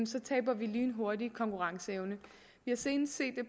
så taber vi lynhurtigt konkurrenceevne vi har senest set det